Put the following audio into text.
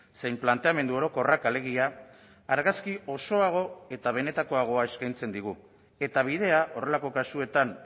zein planteamendu orokorrak alegia argazki osoago eta benetakoagoa eskaintzen digu eta bidea horrelako kasuetan